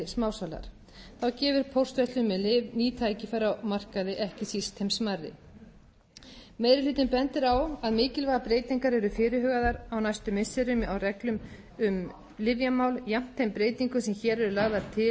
smásalar þá gefur póstverslun með lyf ný tækifæri á markaði ekki síst þeim smærri meiri hlutinn bendir á að miklar breytingar eru fyrirhugaðar á næstu missirum á reglum um lyfjamál jafnt með þeim breytingum sem hér eru lagðar til á